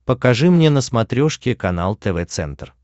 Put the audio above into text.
покажи мне на смотрешке канал тв центр